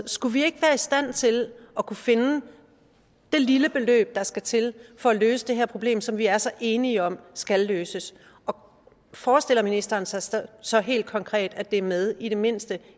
skulle vi ikke være i stand til at kunne finde det lille beløb der skal til for at løse det her problem som vi er så enige om skal løses og forestiller ministeren sig så så helt konkret at det er med i det mindste